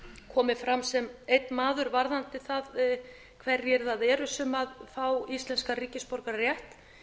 komið fram sem einn maður varðandi það hverjir það eru sem fá íslenskan ríkisborgararétt